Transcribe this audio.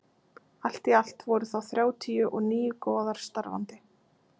allt í allt voru þá þrjátíu og níu goðar starfandi